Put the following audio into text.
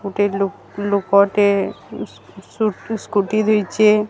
ଗୋଟେ ଲୋ ଲୋକ ଟେ ସ୍କୁ ସ୍କୁଟି ଦେଇଚି।